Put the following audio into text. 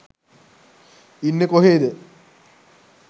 ඉන්නෙ කොහේද?